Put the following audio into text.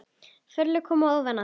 Forlög koma ofan að